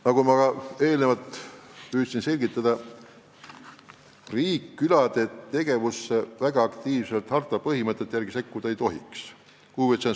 Nagu ma püüdsin selgitada, riik külade tegevusse harta põhimõtete järgi väga aktiivselt sekkuda ei tohiks.